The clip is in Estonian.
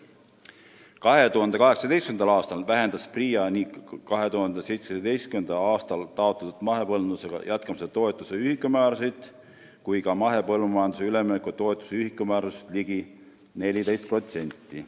2018. aastal vähendas PRIA nii 2017. aastal taotletud mahepõllumajandusega jätkamise toetuse ühikumäärasid kui ka mahepõllumajandusele ülemineku toetuse ühikumäärasid ligi 14%.